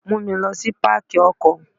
Mú mi lọ sí Pákì ọkọ̀.